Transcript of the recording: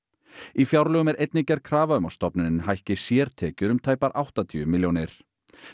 í fjárlögum er einnig gerð krafa um að stofnunin hækki sértekjur um tæpar áttatíu milljónir